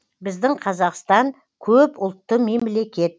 біздің қазақстан көп ұлтты мемлекет